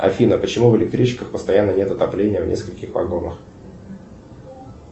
афина почему в электричках постоянно нет отопления в нескольких вагонах